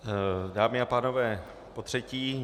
Dámy a pánové, potřetí.